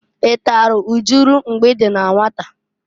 I talụ ujulu mgbe i dị na nwata?